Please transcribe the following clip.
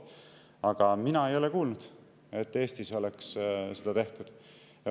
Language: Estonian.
Aga mina ei ole kuulnud, et Eestis oleks seda tehtud.